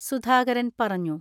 സുധാകരൻ പറഞ്ഞു.